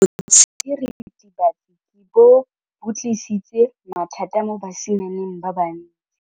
Botshelo jwa diritibatsi ke bo tlisitse mathata mo basimaneng ba bantsi.